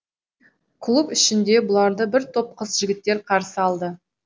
клуб ішінде бұларды бір топ қыз жігіттер қарсы алды